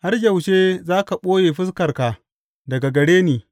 Har yaushe za ka ɓoye fuskarka daga gare ni?